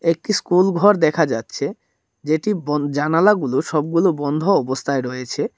একটি স্কুলঘর দেখা যাচ্ছে যেটি বন জানালাগুলো সবগুলো বন্ধ অবস্থায় রয়েছে।